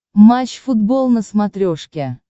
матч футбол на смотрешке